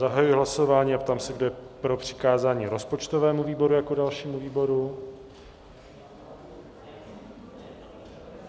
Zahajuji hlasování a ptám se, kdo je pro přikázání rozpočtovému výboru jako dalšímu výboru?